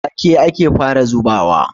Wake ake fara zubawa.